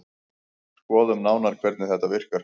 Skoðum nánar hvernig þetta virkar.